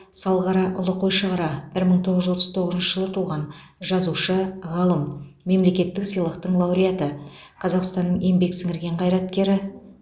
салғараұлы қойшығара бір мың тоғыз жүз отыз тоғызыншы жылы туған жазушы ғалым мемлекеттік сыйлықтың лауреаты қазақстанның еңбек сіңірген қайраткері